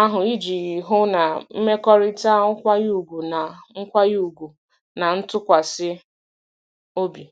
ahụ iji hụ na mmekọrịta nkwanye ùgwù na nkwanye ùgwù na ntụkwasị obi.